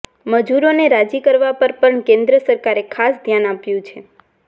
મજૂરોને રાજી કરવા પર પણ કેન્દ્ર સરકારે ખાસ ધ્યાન આપ્યું છે